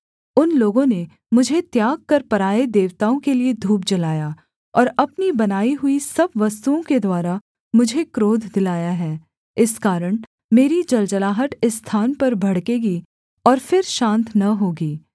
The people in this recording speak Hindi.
उन लोगों ने मुझे त्याग कर पराए देवताओं के लिये धूप जलाया और अपनी बनाई हुई सब वस्तुओं के द्वारा मुझे क्रोध दिलाया है इस कारण मेरी जलजलाहट इस स्थान पर भड़केगी और फिर शान्त न होगी